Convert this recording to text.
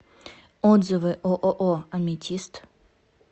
отзывы ооо аметист